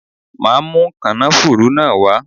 Màá mú kànáfùrú náà wá.